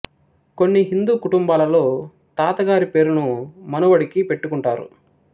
కొన్ని హిందూ కుటుంబాలలో తాత గారి పేరును మనవడికి పెట్టుకుంటారు